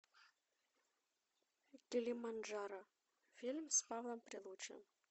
килиманджаро фильм с павлом прилучным